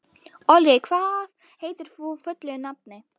Olli, hvað heitir þú fullu nafni?